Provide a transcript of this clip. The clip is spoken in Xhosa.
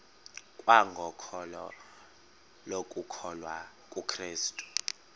kwangokholo lokukholwa kukrestu